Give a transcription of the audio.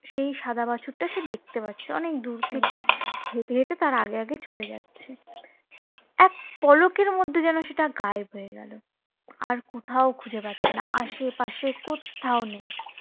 সেই সাদা বাছুরটাকে দেখতে পাচ্ছি অনেক দূর থেকে হেটে হেটে তার আগে আগে চলে যাচ্ছে, এক পলকের মধ্যে সেটা যেন গায়েব হয়ে গেল, আর কোথাও খুজে পাচ্ছিনা আশে পাশে কোথাও না.